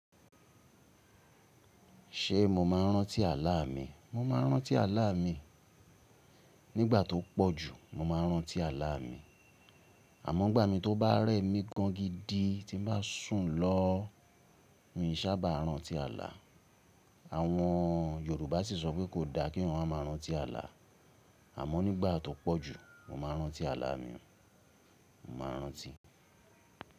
Ṣé mo máa rántí àlà mi? Mo máa rántí àlà mi. Nígbà tó pọ̀ jù, mo máa rántí àlà mi. Àmọ́ igbà mí tó bá rẹ́ mi gan gidi tí n bá sùn lọ, n ò sábà rántí àlà. Àwọn Yorùbá sì sọ pé kò da kí eeyàn ma máa rántí àlà. Àmọ́ nígbà tó pọ̀ jù, mo máa rántí àlà mi. Mo máa rántí.